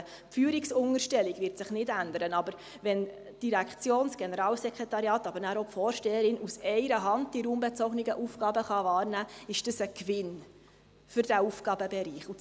Die Führungsunterstellung wird sich nicht ändern, aber wenn die Direktion – das Generalsekretariat, aber auch die Vorsteherin – die raumbezogenen Aufgaben aus einer Hand wahrnehmen kann, ist dies für diesen Aufgabenbereich ein Gewinn.